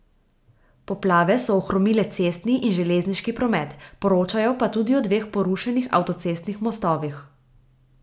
Poplave so ohromile cestni in želežniški promet, poročajo pa tudi o dveh porušenih avtocestnih mostovih.